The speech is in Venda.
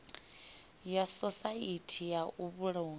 ya sosaithi ya u vhulunga